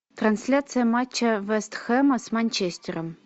трансляция матча вест хэма с манчестером